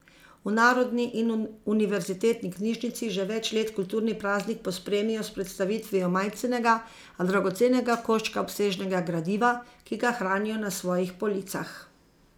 V Narodni in univerzitetni knjižnici že več let kulturni praznik pospremijo s predstavitvijo majcenega, a dragocenega koščka obsežnega gradiva, ki ga hranijo na svojih policah.